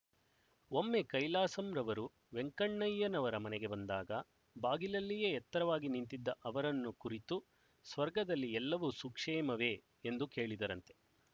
ಒಮ್ಮೆ ಕೈಲಾಸಂರವರು ವೆಂಕಣ್ಣಯ್ಯನವರ ಮನೆಗೆ ಬಂದಾಗ ಬಾಗಿಲಲ್ಲಿಯೇ ಎತ್ತರವಾಗಿ ನಿಂತಿದ್ದ ಅವರನ್ನು ಕುರಿತು ಸ್ವರ್ಗದಲ್ಲಿ ಎಲ್ಲವೂ ಸುಕ್ಷೇಮವೆ ಎಂದು ಕೇಳಿದರಂತೆ